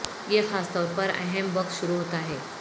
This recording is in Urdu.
یہ خاص طور پر اہم وقت شروع ہوتا ہے